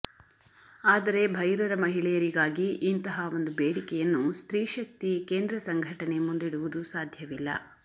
ಆದರೆ ಭೈರರ ಮಹಿಳೆಯರಿಗಾಗಿ ಇಂತಹ ಒಂದು ಬೇಡಿಕೆಯನ್ನು ಸ್ತ್ರೀಶಕ್ತಿ ಕೇಂದ್ರ ಸಂಘಟನೆ ಮುಂದಿಡುವುದು ಸಾಧ್ಯವಿಲ್ಲ